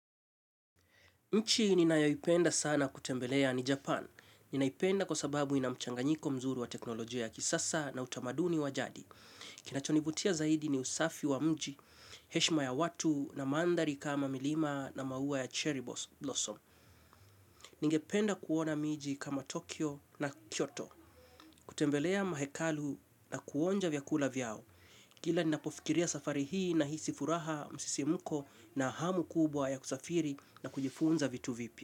Nchi ninayayoipenda sana kutembelea ni Japan. Ninaipenda kwa sababu ina mchanganyiko mzuri wa teknolojia ya kisasa na utamaduni wa jadi. Kinachonivutia zaidi ni usafi wa mji, heshima ya watu na mandhari kama milima na maua ya cherry blossom. Ningependa kuona mji kama Tokyo na Kyoto. Kutembelea mahekalu na kuonja vyakula vyao. Kila ninapofikiria safari hii nahisi furaha, msisimko na hamu kubwa ya kusafiri na kujifunza vitu vipya.